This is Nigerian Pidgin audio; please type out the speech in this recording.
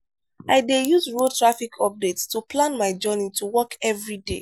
i dey use radio traffic updates to plan my journey to work every day.